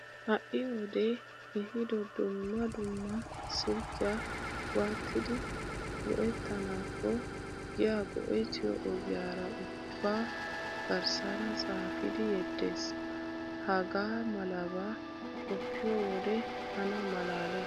Ha"i wodee ehiido dumma dumma silkkiya waatidi go'ettanaakko giya go'ettiyo ogiyara ubbaa garssaara xaafidi yeddees. Hagaa malabaa qoppiyo wode tana malaalees!